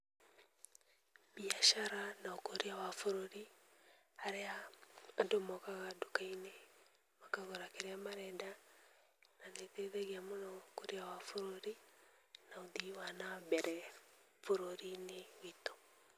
Mbiacara na ũkũria wa bũrũri harĩa andũ mokaga nduka-inĩ makagũra kĩrĩa marenda, na nĩĩteithagia mũno ũkũria wa bũrũri na ũthii wa nambere bũrũri-inĩ witũ.